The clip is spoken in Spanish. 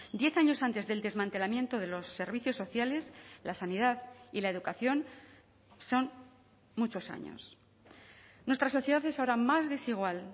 diez años antes del desmantelamiento de los servicios sociales la sanidad y la educación son muchos años nuestra sociedad es ahora más desigual